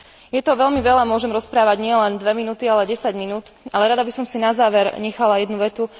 Je toho veľmi veľa, môžem rozprávať nielen 2 minúty, ale aj 10 minút, ale rada by som si na záver nechala jednu vetu.